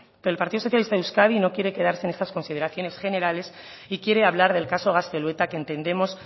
pero el partido socialista de euskadi no quiere quedarse en esas consideraciones generales y quiere hablar del caso gaztelueta que entendemos